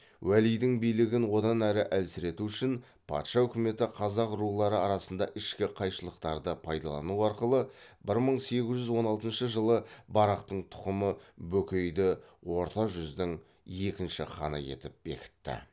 уәлидің билігін одан әрі әлсірету үшін патша өкіметі қазақ рулары арасында ішкі қайшылықтарды пайдалану арқылы бір мың сегіз жүз он алтыншы жылы барақтың тұқымы бөкейді орта жүздің екінші ханы етіп бекітті